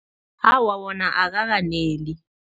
Awa, wona akakaneli.